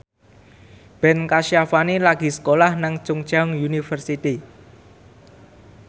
Ben Kasyafani lagi sekolah nang Chungceong University